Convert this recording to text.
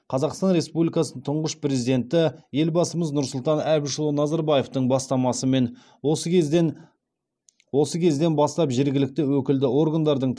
қазақстан республикасы тұңғыш президенті елбасымыз нұрсұлтан әбішұлы назарбаевтың бастамасымен осы кезден осы кезден бастап жергілікті өкілді органдардың